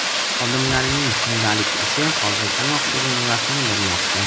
xodimlarining kundalik ishi hozirdanoq o‘z mevasini bermoqda.